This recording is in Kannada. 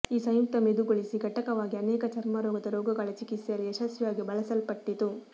ಈ ಸಂಯುಕ್ತ ಮೆದುಗೊಳಿಸಿ ಘಟಕವಾಗಿ ಅನೇಕ ಚರ್ಮರೋಗದ ರೋಗಗಳ ಚಿಕಿತ್ಸೆಯಲ್ಲಿ ಯಶಸ್ವಿಯಾಗಿ ಬಳಸಲ್ಪಟ್ಟಿತು